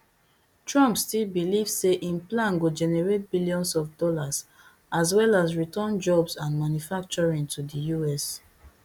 trump still believe say im plan go generate billions of dollars as well as return jobs and manufacturing to di us